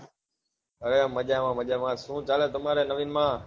હા મજામાં મજામાં શું ચાલે તમારા નવીન માં